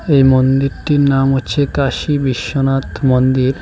এই মন্দিরটির নাম হচ্ছে কাশী বিশ্বনাথ মন্দির।